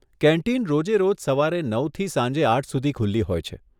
Canteen રોજે રોજ સવારે નવથી સાંજે આઠ સુધી ખુલ્લી હોય છે.